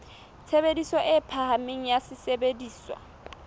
tshebediso e phahameng ya sesebediswa